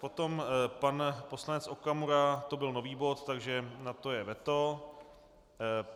Potom pan poslanec Okamura, to byl nový bod, takže na to je veto.